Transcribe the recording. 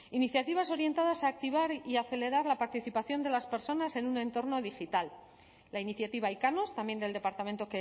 iniciativas orientadas a activar y acelerar la participación de las personas en un entorno digital la iniciativa ikanos también del departamento